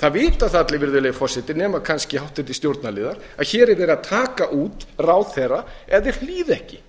það vita það allir virðulegi forseti nema kannski háttvirtur stjórnarliðar að hér er verið að taka út ráðherra ef þeir hlýða ekki